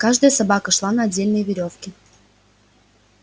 каждая собака шла на отдельной верёвке